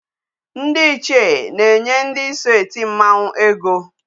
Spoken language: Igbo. Ndị ichie na-enye ndị so eti mmanwu ego.